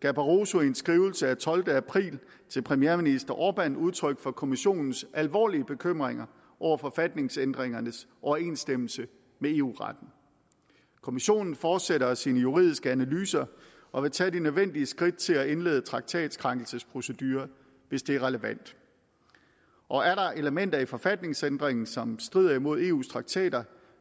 gav barosso i en skrivelse af tolvte april til premierminister orbán udtryk for kommissionens alvorlige bekymringer over forfatningsændringernes overensstemmelse med eu retten kommissionen fortsætter sine juridiske analyser og vil tage de nødvendige skridt til at indlede traktatkrænkelsesproceduren hvis det er relevant og er der elementer i forfatningsændringen som strider imod eus traktater